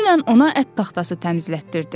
Dünən ona ət taxtası təmizlətdirdim.